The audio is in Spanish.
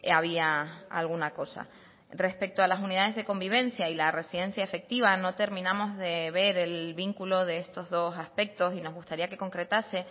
había alguna cosa respecto a las unidades de convivencia y la residencia efectiva no terminamos de ver el vínculo de estos dos aspectos y nos gustaría que concretase